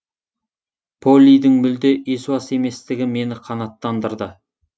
поллидің мүлде есуас еместігі мені қанаттандырды